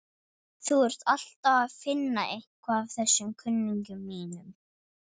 Þú ert alltaf að finna eitthvað að þessum kunningjum mínum.